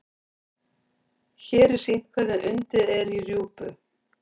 hér er sýnt hvernig undið er í rjúpu